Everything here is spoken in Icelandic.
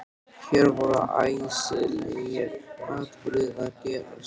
Hér voru æsilegir atburðir að gerast.